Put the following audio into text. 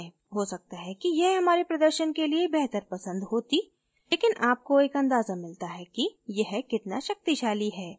हो सकता है कि यह हमारे प्रदर्शन के लिए बेहतर पसंद होती लेकिन आपको एक अंदाज़ा मिलता है कि यह कितना शक्तिशाली है